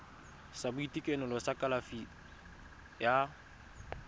sa boitekanelo sa kalafi ya